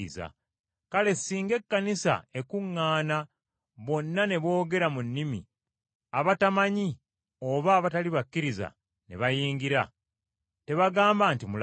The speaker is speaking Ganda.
Kale singa Ekkanisa ekuŋŋaana bonna ne boogera mu nnimi abatamanyi oba abatali bakkiriza ne bayingira, tebagamba nti mulaluse?